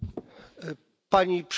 Pani Przewodnicząca!